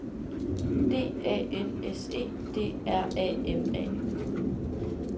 D A N S E D R A M A